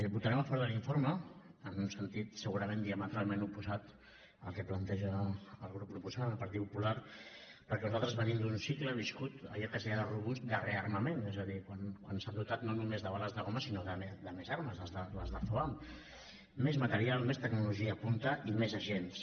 votarem a favor de l’informe en un sentit segurament diametralment oposat al que planteja el grup proposant el partit popular perquè nosaltres venim d’un cicle viscut allò que es deia de rearmament és a dir quan s’han dotat no només de bales de goma sinó de més armes les de foam més material més tecnologia punta i més agents